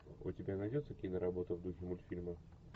у тебя найдется киноработа в духе мультфильма